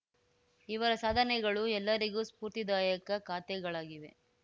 ಇವರ ಸಾಧನೆಗಳು ಎಲ್ಲರಿಗೂ ಸ್ಫೂರ್ತಿದಾಯಕ ಕಾತೆಗಳಾಗಿವೆ